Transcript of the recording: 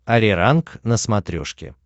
ариранг на смотрешке